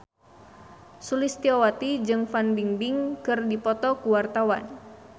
Sulistyowati jeung Fan Bingbing keur dipoto ku wartawan